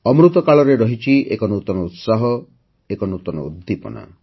ଅମୃତ କାଳରେ ରହିଛି ଏକ ନୂତନ ଉତ୍ସାହ ନୂତନ ଉଦ୍ଦୀପନା